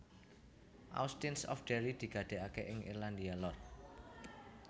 Austins of Derry diadegaké ing Irlandia Lor